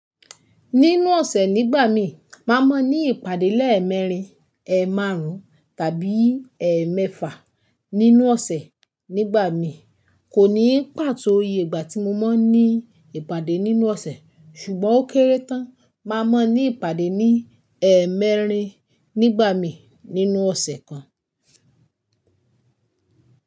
Nínú ọ̀sẹ̀ nígbà mi, màá mọ ní ìpàdé lẹ́ẹ̀ mẹ́rin, ẹ́ẹ̀ márùn-ún tàbí ẹ́ẹ̀ mẹ́fà. Nínú ọ̀sẹ̀ nígbà mi kò ní pàtó iye ìgbà tí mo máa ń ní ìpàdé nínú ọ̀sẹ̀, ṣùgbọ́n ó kéré tán, màá mọ ní ìpàdé ní ẹ́ẹ̀mẹ́rin nígbà mi nínú ọ̀sẹ̀ kan.